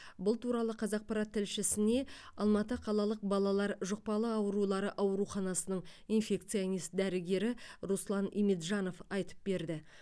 бұл туралы қазақпарат тілшісіне алматы қалалық балалар жұқпалы аурулары ауруханасының инфекционист дәрігері руслан иминджанов айтып берді